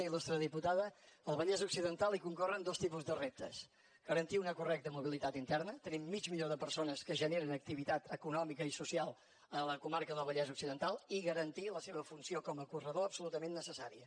il·lustre diputada al vallès occidental hi concorren dos tipus de reptes garantir una correcta mobilitat interna tenim mig milió de persones que generen activitat econòmica i social a la comarca del vallès occidental i garantir la seva funció com a corredor absolutament necessària